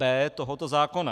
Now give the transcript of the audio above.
b) tohoto zákona.